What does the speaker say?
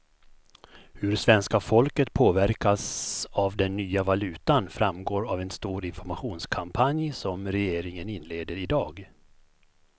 Hur svenska folket påverkas av den nya valutan framgår av en stor informationskampanj som regeringen inleder i dag.